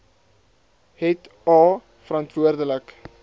het a verantwoordelik